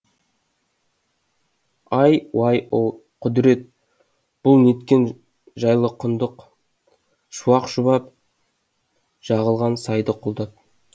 іүо құдірет бұл неткен жайлы құндақ шуақ шұбап жығылған сайды құлдап